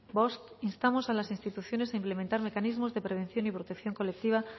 bost instamos a las instituciones a implementar mecanismos de prevención y protección colectiva